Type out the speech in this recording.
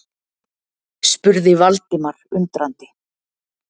spurði Valdimar undrandi.